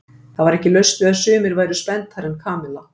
Það var ekki laust við að sumir væru spenntari en Kamilla.